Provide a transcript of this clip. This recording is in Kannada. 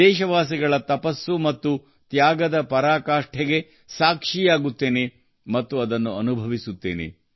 ದೇಶವಾಸಿಗಳ ತಪಸ್ಸು ಮತ್ತು ತ್ಯಾಗದ ಪರಾಕಾಷ್ಠೆಗೆ ಸಾಕ್ಷಿಯಾಗುತ್ತೇನೆ ಮತ್ತು ಅದನ್ನು ಅನುಭವಿಸುತ್ತೇನೆ